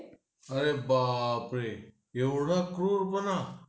अरे बाप रे एवढा क्रूरपणा